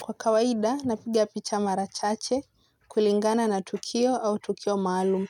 Kwa kawaida, napiga picha mara chache kulingana na tukio au tukio maalum.